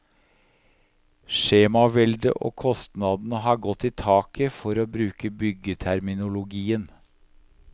Skjemaveldet og kostnadene har gått i taket, for å bruke byggeterminologien.